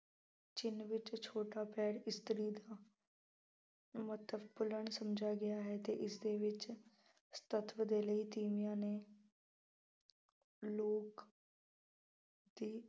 ਚਿੰਨ੍ਹ ਵਿੱਚ ਛੋਟਾ ਪੈਰ ਇਸਤਰੀ ਦਾ ਮਹੱਤਵਪੂਰਨ ਸਮਝਿਆ ਗਿਆ ਹੈ ਅਤੇ ਇਸਦੇ ਵਿੱਚ ਸਤੱਤਵ ਦੇ ਲਈ ਤੀਵੀਆਂ ਨੇ ਲੋਕ ਦੀ